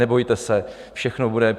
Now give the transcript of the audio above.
Nebojte se, všechno bude.